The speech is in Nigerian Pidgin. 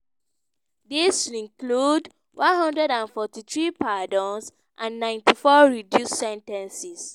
dis include 143 pardons and 94 reduced sen ten ces.